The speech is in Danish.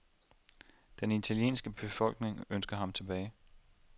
Den italienske befolkning ønsker ham tilbage.